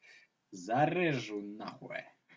зарежу нахуй